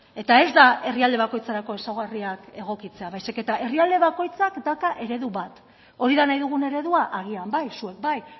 eta ez da herrialde bakoitzerako ezaugarriak egokitzea baizik eta herrialde bakoitzak dauka eredu bat hori da nahi dugun eredua agian bai zuek bai